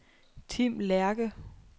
Tim Lerche